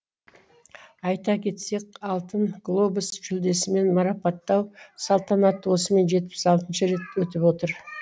айта кетсек алтын глобус жүлдесімен марапаттау салтанаты осымен жетпіс алтыншы рет өтіп отыр